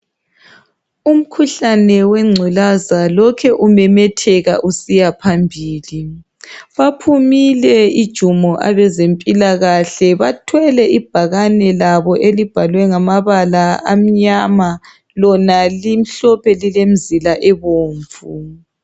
Umkhuhlane wegculaza lokhe umemetheka usiyaphambili. Baphumile ijumo abezemphikahle, bathwele ibhakani labo elibhalwe ngamabala amnyama lona limhlophe lilemizila obomvu.